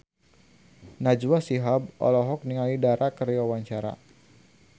Najwa Shihab olohok ningali Dara keur diwawancara